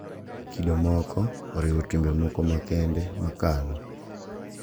Kido moko oriwo timbe moko makende makalo,